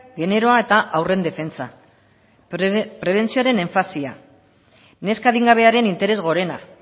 generoa eta haurren defentsa prebentzioaren enfasia neska adingabearen interes gorena